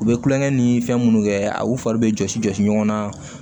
U bɛ kulonkɛ ni fɛn minnu kɛ a u fari bɛ jɔsi jɔsi ɲɔgɔn na